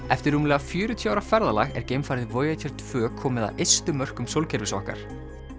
eftir rúmlega fjörutíu ára ferðalag er geimfarið Voyager tvö komið að ystu mörkum sólkerfis okkar